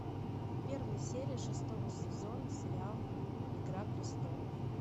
первая серия шестого сезона сериал игра престолов